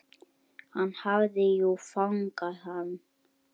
Hann hafði jú fangað hann.